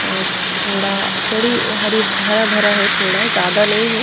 अह थोड़ा थोड़ी हरी हरा भरा है थोड़ा ज्यादा नहीं है।